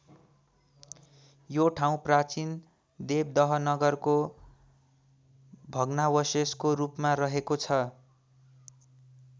यो ठाउँ प्राचीन देवदह नगरको भग्नावशेषको रूपमा रहेको छ।